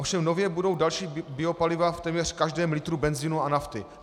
Ovšem nově budou další biopaliva v téměř každém litru benzinu a nafty.